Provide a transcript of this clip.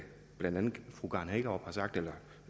blandt andet